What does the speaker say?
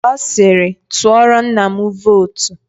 Ọ siiri, tụọrọ nna m vootu.